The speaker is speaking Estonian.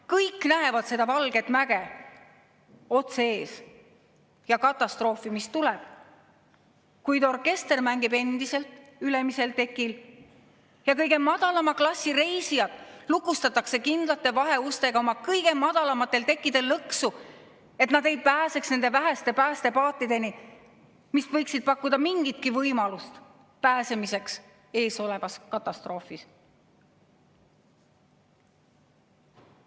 Kõik näevad seda valget mäge otse ees ja katastroofi, mis tulemas on, kuid orkester mängib endiselt ülemisel tekil ja kõige madalama klassi reisijad lukustatakse kindlate vaheustega kõige madalamatel tekkidel lõksu, et nad ei pääseks nende väheste päästepaatideni, mis võiksid pakkuda mingitki võimalust pääsemiseks eesolevas katastroofis.